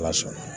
Ala sɔnna